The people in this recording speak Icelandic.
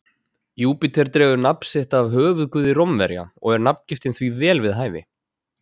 Júpíter dregur nafn sitt af höfuðguði Rómverja og er nafngiftin því vel við hæfi.